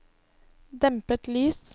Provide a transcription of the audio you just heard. dempet lys